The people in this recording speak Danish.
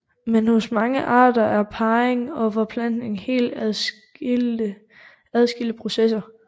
Men hos mange arter er parring og forplantning helt adskilte processer